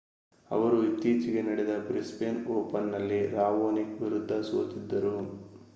ಅವರು ಇತ್ತೀಚೆಗೆ ನಡೆದ ಬ್ರಿಸ್ಬೇನ್ ಓಪನ್‌ನಲ್ಲಿ ರಾವೊನಿಕ್ ವಿರುದ್ಧ ಸೋತಿದ್ದರು